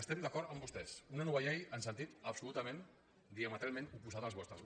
estem d’acord amb vostès una nova llei en sentit absolutament diametralment oposat als vostres